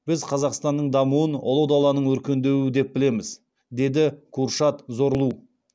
біз қазақстанның дамуын ұлы даланың өркендеуі деп білеміз деді куршад зорлу